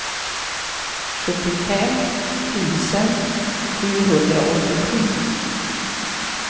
sjuttiofem tusen sjuhundraåttiosju